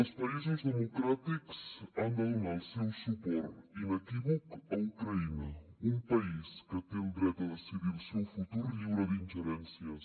els països democràtics han de donar el seu suport inequívoc a ucraïna un país que té el dret a decidir el seu futur lliure d’ingerències